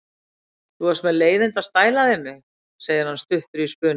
Þú varst með leiðinda stæla við mig, segir hann stuttur í spuna.